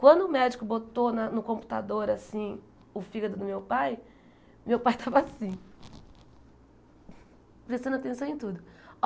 Quando o médico botou na no computador assim o fígado do meu pai, meu pai estava assim, prestando atenção em tudo.